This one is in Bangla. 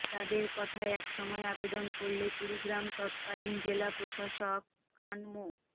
তাদের কথায় এক সময় আবেদন করলে কুড়িগ্রাম তৎকালীন জেলা প্রশাসক খান মো